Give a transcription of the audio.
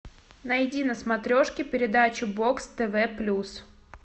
найди на смотрешке передачу бокс тв плюс